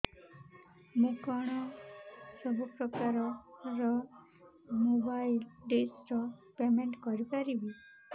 ମୁ କଣ ସବୁ ପ୍ରକାର ର ମୋବାଇଲ୍ ଡିସ୍ ର ପେମେଣ୍ଟ କରି ପାରିବି